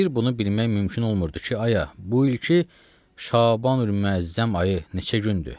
Bir bunu bilmək mümkün olmurdu ki, aya, bu ilki Şabanül-müəzzəm ayı neçə gündür?